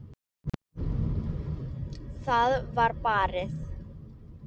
Það var barið.